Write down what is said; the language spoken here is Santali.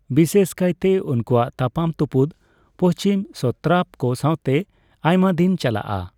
ᱵᱤᱥᱮᱥ ᱠᱟᱭᱛᱮ, ᱩᱱᱠᱩᱣᱟᱜ ᱛᱟᱯᱟᱢ ᱛᱩᱯᱩᱫ ᱯᱚᱪᱷᱤᱢᱤ ᱥᱚᱛᱨᱟᱯ ᱠᱚ ᱥᱟᱣᱛᱮ ᱟᱭᱢᱟᱫᱤᱱ ᱪᱟᱞᱟᱜᱼᱟ᱾